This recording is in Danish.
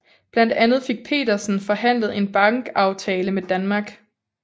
Blandt andet fik Petersen forhandlet en bankavtale med Danmark